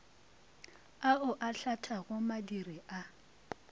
ao a hlathago madiri a